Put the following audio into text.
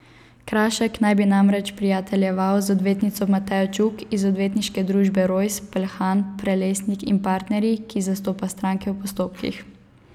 Krašek naj bi namreč prijateljeval z odvetnico Matejo Čuk iz odvetniške družbe Rojs, Peljhan, Prelesnik in partnerji, ki zastopa stranke v postopkih.